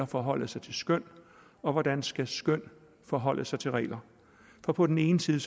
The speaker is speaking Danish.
forholde sig til skøn og hvordan skøn skal forholde sig til regler for på den ene side